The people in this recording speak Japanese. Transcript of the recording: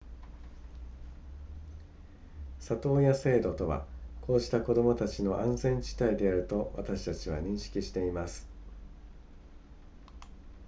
里親制度とはこうした子供たちの安全地帯であると私たちは認識しています